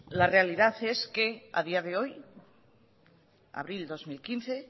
la realidad es que a día de hoy abril dos mil quince